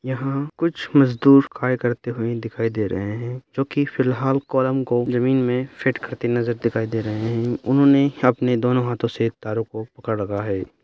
यहाँ कुछ मजदूर कार्य करते हुए दिखाई दे रहे हैं जो कि फिलहाल कॉलम को जमीन में फिट करते नजर दिखाई दे रहे हैं उन्होंने अपने दोनों हाथों से इन तारों को पकड़ रखा है।